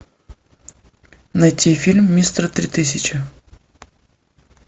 найти фильм мистер три тысячи